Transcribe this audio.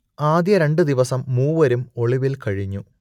ആദ്യ രണ്ടു ദിവസം മൂവരും ഒളിവിൽ കഴിഞ്ഞു